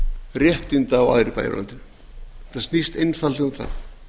réttinda og aðrir bæir á landinu þetta snýst einfaldlega um það